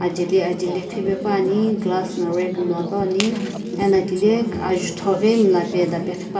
ajeli ajaeli ghivae paepane glass nguo rag no ghipane ano thilae azutho ghi mulapae maeda pa ghipane.